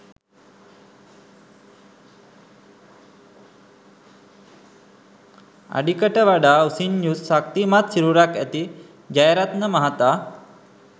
අඩිකට වඩා උසින් යුත් ශක්‌තිමත් සිරුරක්‌ ඇති ජයරත්න මහතා